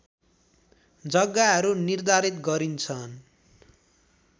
जग्गाहरू निर्धारित गरिन्छन्